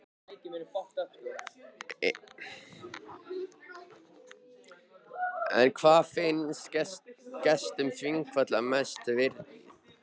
En hvað finnst gestum þingvalla mest virðis?